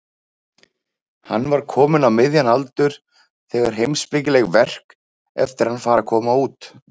Hann var kominn á miðjan aldur þegar heimspekileg verk eftir hann fara að koma út.